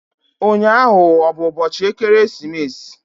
Ụnyaahụ ọ bụ ụbọchị ekeresimesi?